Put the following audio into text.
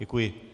Děkuji.